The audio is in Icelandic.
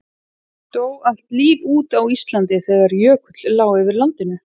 Dó allt líf út á Íslandi þegar jökull lá yfir landinu?